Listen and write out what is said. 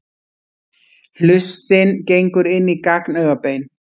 Hlustin gengur inn í gagnaugabein.